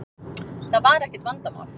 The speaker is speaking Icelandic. Það var ekkert vandamál.